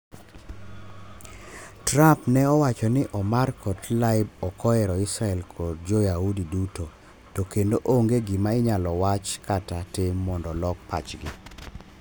Trump ne owacho ni Omar kod Tlaib okohero Israel kod jo yahudi duto, to kendo onge gima inyalo wach kata tim mondo olok pachgi